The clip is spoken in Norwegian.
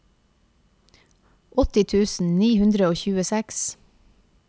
åtti tusen ni hundre og tjueseks